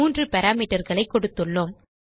3 parameterகளை கொடுத்துள்ளோம்